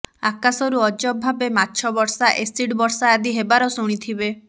ଆକାଶରୁ ଅଜବ ଭାବେ ମାଛ ବର୍ଷା ଏସିଡ୍ ବର୍ଷା ଆଦି ହେବାର ଶୁଣିଥିବେ